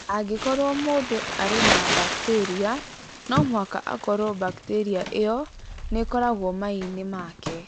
Angĩkorũo mũndũ arĩ na bakteria, no mũhaka akorũo bakteria ĩyo nĩ ĩkoragwo maiinĩ make.